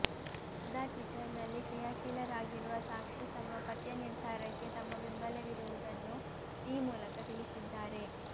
ಸದಾ ಟ್ವಿಟರ್ ನಲ್ಲಿ ಕ್ರಿಯಾಶೀಲರಾಗಿರುವ ಸಾಕ್ಷಿ ತಮ್ಮ ಪತಿಯ ನಿರ್ಧಾರಕ್ಕೆ ತಮ್ಮ ಬೆಂಬಲವಿರುವುದನ್ನು ಈ ಮೂಲಕ ತಿಳಿಸಿದ್ದಾರೆ